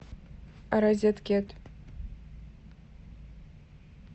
розеткед